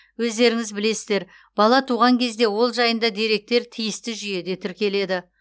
өздеріңіз білесіздер бала туған кезде ол жайында деректер тиісті жүйеде тіркеледі